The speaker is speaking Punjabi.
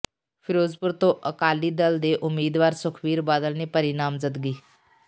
ਫਿਰੋਜ਼ਪੁਰ ਤੋਂ ਅਕਾਲੀ ਦਲ ਦੇ ਉਮੀਦਵਾਰ ਸੁਖਬੀਰ ਬਾਦਲ ਨੇ ਭਰੀ ਨਾਮਜ਼ਦਗੀ